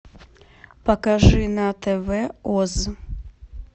покажи на тв оз